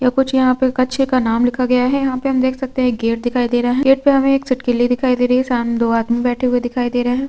या कुछ यहाँ पे कक्षे का नाम लिखा गया है यहाँ पे हम देख सकते है गेट दिखाई दे रा है गेट पे हमें एक सिटकिली दिखाई दे रही है सामने दो आदमी बैठे हुए दिखाई दे रहे है।